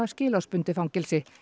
skilorðsbundið fangelsi